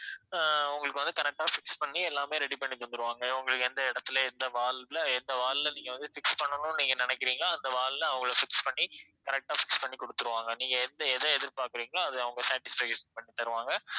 அஹ் உங்களுக்கு வந்து correct ஆ fix பண்ணி எல்லாமே ready பன்ணி தந்திடுவாங்க உங்களுக்கு எந்த இடத்தில எந்த wall ல எந்த wall ல நீங்க வந்து fix பண்ணனும்னு நீங்க நினைக்கிறீங்களோ அந்த wall ல அவங்களே fix பண்ணி correct ஆ fix பண்ணி குடுத்துடுவாங்க நீங்க எந்த எத எதிர்பாக்கறீங்களோ அது அவங்க satisfaction பண்ணி தருவாங்க